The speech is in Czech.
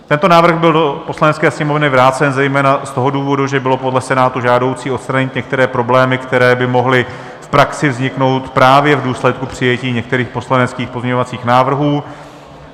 Tento návrh byl do Poslanecké sněmovny vrácen zejména z toho důvodu, že bylo podle Senátu žádoucí odstranit některé problémy, které by mohly v praxi vzniknout právě v důsledku přijetí některých poslaneckých pozměňovacích návrhů.